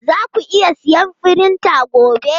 Zaku iya siyan firinta gobe?